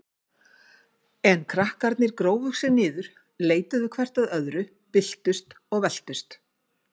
En krakkarnir grófu sig niður, leituðu hvert að öðru, byltust og veltust.